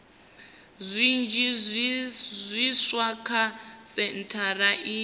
zwinzhi zwiswa kha sentshari iyi